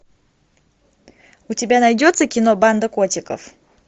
у тебя найдется кино банда котиков